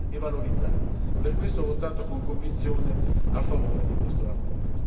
È un'opportunità che va riconosciuta e valorizzata, per questo ho votato con convinzione a favore di questa relazione.